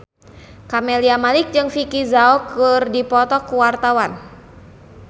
Camelia Malik jeung Vicki Zao keur dipoto ku wartawan